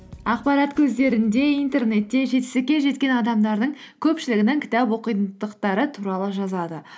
ақпарат көздерінде интернетте жетістікке жеткен адамдардың көпшілігінің кітап оқитындықтары туралы жазады